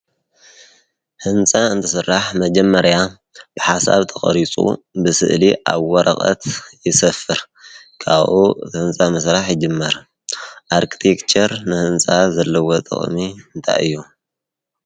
ሕንፃ እንትስራሕ መጀመርያ ብሓሳብ ተቐሪፁ ብስእሊ ኣብ ወረቐት ይሰፍር፡፡ ካብኡ እቲ ህንፃ ምስራሕ ይጅመር፡፡ ኣርክቲክቸር ንህንፃ ዘለዎ ጥቕሚ እንታይ እዮ?